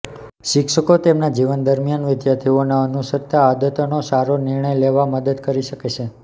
શિક્ષકો તેમના જીવન દરમિયાન વિદ્યાર્થીઓને અનુસરતા આદતનો સારો નિર્ણય લેવા મદદ કરી શકે છે